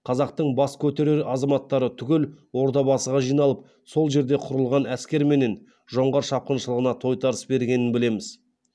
қазақтың бас көтерер азаматтары түгел ордабасыға жиналып сол жерде құрылған әскерменен жоңғар шапқыншылығына тойтарыс бергенін білеміз